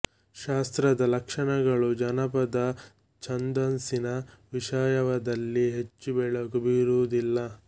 ಶಾಸ್ತ್ರದ ಲಕ್ಷಣಗಳು ಜನಪದ ಛಂದಸ್ಸಿನ ವಿಷಯದಲ್ಲಿ ಹೆಚ್ಚು ಬೆಳಕು ಬೀರುವುದಿಲ್ಲ